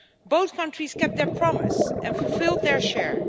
Both countries kept their promise and fulfilled their share.